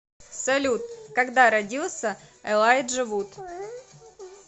салют когда родился элайджа вуд